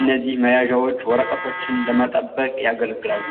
እነዚህ መያዣዎች ወረቀቶችን ለመጠበቅ ያገለግላሉ።